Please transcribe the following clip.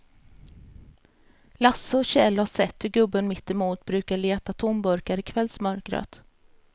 Lasse och Kjell har sett hur gubben mittemot brukar leta tomburkar i kvällsmörkret.